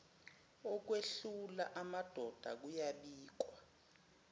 okwehlula amadoda kuyabikwa